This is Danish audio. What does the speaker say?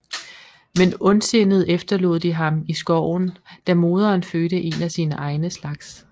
Men ondsindet efterlod de ham i skoven da moderen fødte en af sine egne slags